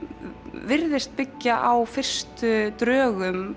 virðist byggja á fyrstu drögum